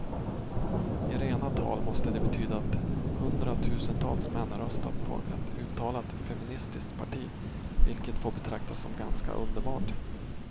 I rena tal måste det betyda att hundratusentals män röstat på ett uttalat feministiskt parti, vilket får betraktas som ganska underbart.